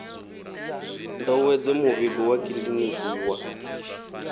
ndovhedzo muvhigo wa kiḽiniki wa